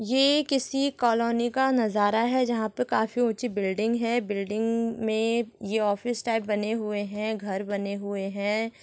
यहाँ किसी कॉलोनी का नजारा है जहाँ पे काफी ऊंची बिल्डिंग हैं बिल्डिंग मे ऑफिस टाइप बने हुए है घर बने हुए हैं।